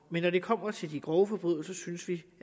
men når det kommer til de grove forbrydelser synes vi